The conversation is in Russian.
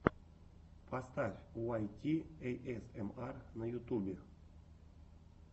поставь уайт ти эйэсэмар на ютюбе